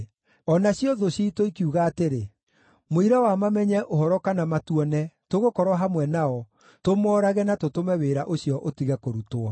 O nacio thũ ciitũ ikiuga atĩrĩ, “Mũira wa mamenye ũhoro kana matuone, tũgũkorwo hamwe nao, tũmoorage na tũtũme wĩra ũcio ũtige kũrutwo.”